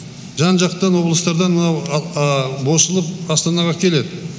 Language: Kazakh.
жан жақтан облыстардан мынау босылып астанаға келеді